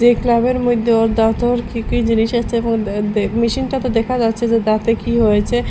এই ক্লাবের মইধ্যে ওর দাঁতের কী কী জিনিসের মেশিনটাতে দেখা যাচ্ছে যে দাঁতে কী হয়েছে।